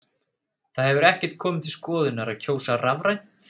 Það hefur ekkert komið til skoðunar að kjósa rafrænt?